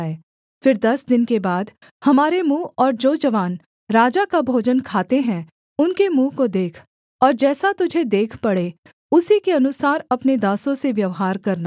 फिर दस दिन के बाद हमारे मुँह और जो जवान राजा का भोजन खाते हैं उनके मुँह को देख और जैसा तुझे देख पड़े उसी के अनुसार अपने दासों से व्यवहार करना